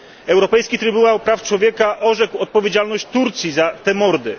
Europejski Trybunał Praw Człowieka orzekł odpowiedzialność Turcji za te mordy.